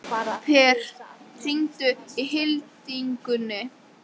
Per, hringdu í Hildigunni.